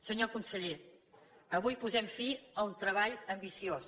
senyor conseller avui posem fi al treball ambiciós